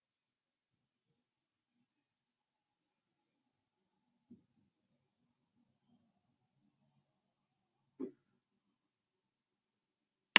балалар үйі баланың өз үйі болмаса да тұрып жатқан мекені